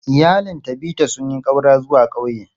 Iyalin Tabitha sun yi ƙaura zuwa ƙauye.